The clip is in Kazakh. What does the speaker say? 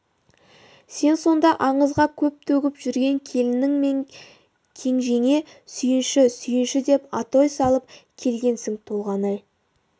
сен сонда аңызда көң төгіп жүрген келінің мен кенжеңе сүйінші сүйінші деп атой салып келгенсің толғанай